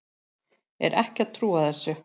Er ekki að trúa þessu.